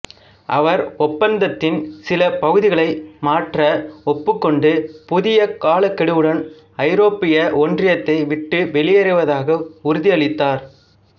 அவர் ஒப்பந்தத்தின் சில பகுதிகளை மாற்ற ஒப்புக்கொண்டு புதிய காலக்கெடுவுடன் ஐரோப்பிய ஒன்றியத்தை விட்டு வெளியேறுவதாக உறுதியளித்தார்